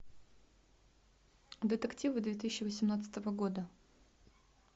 детективы две тысячи восемнадцатого года